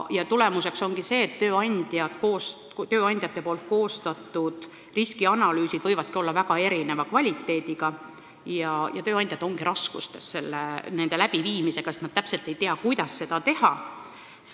Nii juhtubki, et tööandjate koostatud riskianalüüsid võivad olla väga erineva kvaliteediga ja tööandjad on raskustes nende korraldamisega, sest nad täpselt ei tea, kuidas seda teha.